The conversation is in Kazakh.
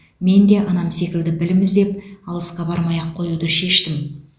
мен де анам секілді білім іздеп алысқа бармай ақ қоюды шештім